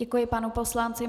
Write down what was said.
Děkuji panu poslanci.